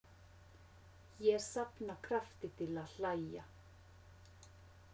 Ég safna krafti til að hlæja.